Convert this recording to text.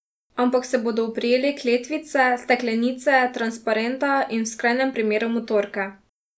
Ampak se bodo oprijeli kletvice, steklenice, transparenta in, v skrajnem primeru, motorke.